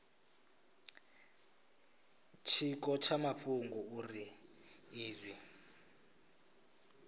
tshiko tsha mafhungo uri izwi